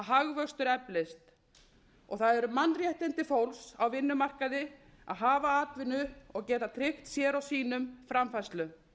hagvöxtur eflist það eru mannréttindi fólks á vinnumarkaði að hafa atvinnu og geta tryggt sér og sínum framfærslu